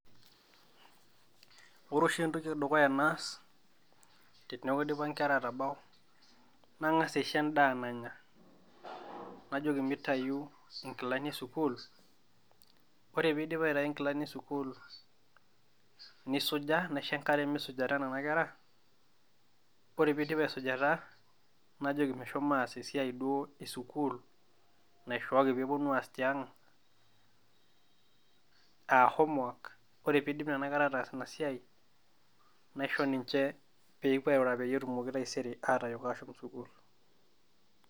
Ore oshi entoki edukuya naas, teneeku idipa inkerra aatabau nang'as aisho endaa nanya, najoki mitayu inkilani esukuul, ore piidip aitayu inkilani esukuul nisuja, naisho engare misujata nena kerra, ore piidip asujata najoki meshomoita aas esiai duo esukuul naishooki pee eponu aas tiang' aa homework, ore piidip nena kerra ataas ina siai, naisho ninje peepuo arura peyie etumoke taisere atayok ashom sukuul.